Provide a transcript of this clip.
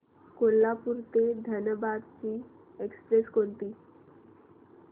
कोल्हापूर ते धनबाद ची एक्स्प्रेस कोणती